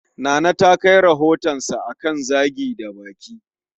Nana ta kai rohotansa akan Zagi da baki